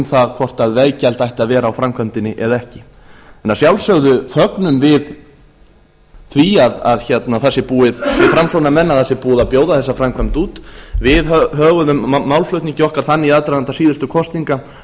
það hvort veggjald ætti að vera á framkvæmdinni eða ekki en að sjálfsögðu fögnum við framsóknarmenn því að það sé búið að bjóða þessa framkvæmd út við höguðum málflutningi okkar þannig í aðdraganda síðustu kosninga að